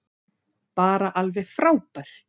Bara alveg frábært.